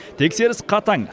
тексеріс қатаң